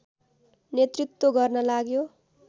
नेतृत्व गर्न लाग्यो